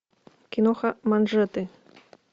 киноха манжеты